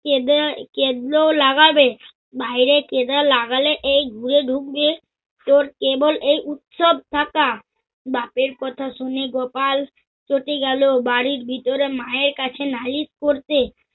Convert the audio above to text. কেদে কেদলেও লাগাবে। বাইরে কেদে লাগালে এই ঘুয়ে ঢুকবে তোর কেবল এই উৎসব থাকা। বাপের কথা শুনে গোপাল কোটে গেল। বাড়ীর ভিতরে মায়ের কাছে নালিস করতে।